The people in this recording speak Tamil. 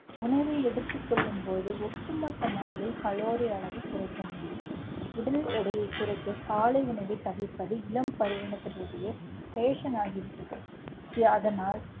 உணவை எடுத்துக் கொள்ளும் போது ஒட்டுமொத்த நாளில் கலோரி அளவு குறைக்க முடியும். உடல் எடையை குறைக்க, காலை உணவைத் தவிர்ப்பது இளம் fashion ஆகிவிட்டது. அதனால்